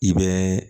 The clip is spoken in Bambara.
I bɛ